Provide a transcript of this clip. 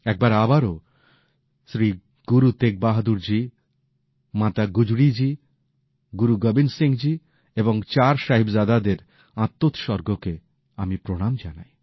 একবার আবারও শ্রীগুরু তেগ বাহাদুরজি মাতা গুজরীজি গুরু গোবিন্দ সিংহজি এবং চার সাহিবজাদাদের আত্মোতসর্গকে আমি প্রণাম জানাই